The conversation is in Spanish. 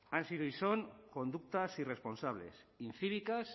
han sido y son conductas irresponsables incívicas